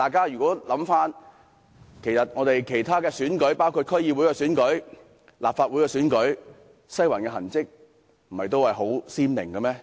然而，在其他選舉，包括區議會和立法會選舉中，"西環"的痕跡不也十分明顯嗎？